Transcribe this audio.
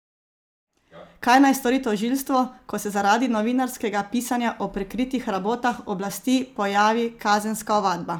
Kaj naj stori tožilstvo, ko se zaradi novinarskega pisanja o prikritih rabotah oblasti pojavi kazenska ovadba?